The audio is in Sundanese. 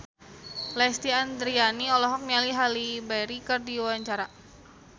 Lesti Andryani olohok ningali Halle Berry keur diwawancara